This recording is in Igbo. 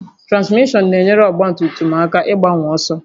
Transmishọn na-enyere ọgba tum tum aka ịgbanwe ọsọ